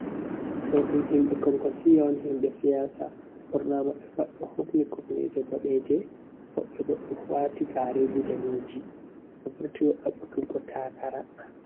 Ɗo ɗum himɓe konkosiya on. Himɓe siyaasa, ɓurnaa maɓɓe pat ɗo hufni kufneje boɗeje, woɓɓe bo ɗo waati gaareji daneji, ɓe vurti ɗaɓɓutugo takara